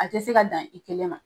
A tɛ se ka dan i kɛlɛ ma.